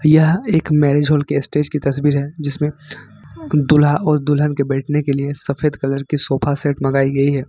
यह एक marriage hall के स्टेज की तस्वीर है जिसमें दूल्हा और दुल्हन के बैठने के लिए सफेद कलर की सोफा सेट मंगाई गई है।